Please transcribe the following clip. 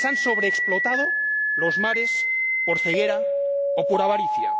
a quienes han sobreexplotado los mares por ceguera o por avaricia